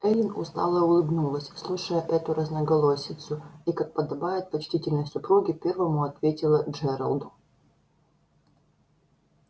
эллин устало улыбнулась слушая эту разноголосицу и как подобает почтительной супруге первому ответила джералду